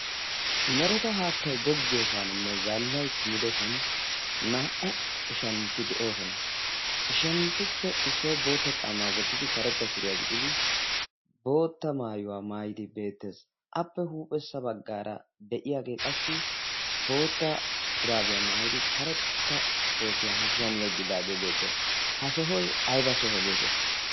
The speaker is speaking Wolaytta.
mereta haattai goggiyoosaaninne zaallai kumidosan naa77u ishantti de7oosona ishanttuppe issoi bootta caamaa wottidi karetta suriyaa gixidi bootta maayuwaa maayidi beettees. appe huuphessa baggaara de'iyaagee qassi bootta shuraabiyaa maayidi karetta kootiyaa hashshiyan yeggidaagee beettees. ha sohoy ayba soho geetettii?